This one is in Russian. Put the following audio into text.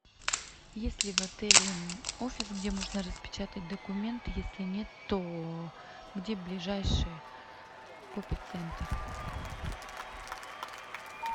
есть ли в отеле офис где можно распечатать документы если нет то где ближайший копицентр